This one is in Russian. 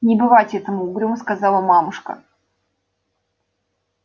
не бывать этому угрюмо сказала мамушка